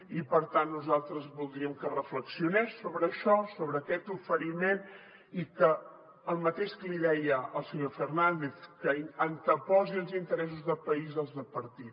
i per tant nosaltres voldríem que reflexionés sobre això sobre aquest oferiment i que el mateix que li deia al senyor fernández anteposi els interessos de país als de partit